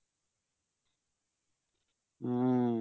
হম